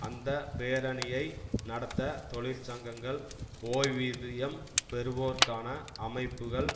அந்த பேரணியை நடத்த தொழிற்சங்கங்கள் ஓய்விதியம் பெறுவோருக்கான அமைப்புக்கள்